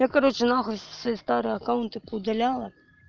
я короче нахуй свои старые аккаунты по удаляла